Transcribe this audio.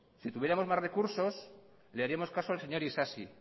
si tuviéramos más recursos le haríamos caso al señor isasi